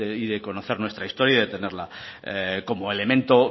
y de conocer nuestra historia y de tenerla como elemento